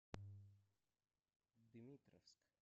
дмитровск